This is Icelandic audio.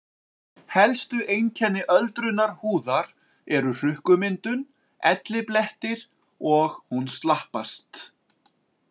Helstu einkenni öldrunar húðar eru hrukkumyndun, elliblettir og hún slappast.